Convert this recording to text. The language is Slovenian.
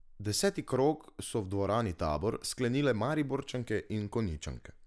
Deseti krog so v dvorani Tabor sklenile Mariborčanke in Konjičanke.